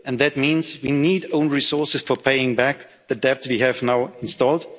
let's be clear. And that means we need own resources for paying back the debt we have